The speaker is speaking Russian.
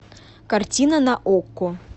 картина на окко